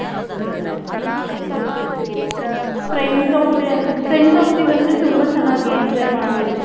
friends friends ಹೋಗ್ತಿವಿ ಅಂದ್ರೆ ತುಂಬಾ ಚೆನ್ನಾಗ್ enjoy ಮಡ್ಬೌದು.